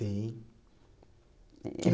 Tem.